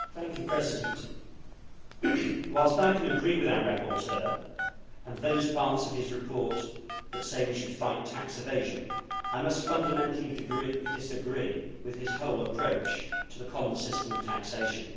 Mr President, whilst I can agree with our rapporteur and those parts of his report that say we should fight tax evasion, I must fundamentally disagree with his whole approach to the common system of taxation.